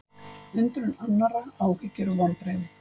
Undrun annarra, áhyggjur og vonbrigði